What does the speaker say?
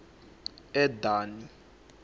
edani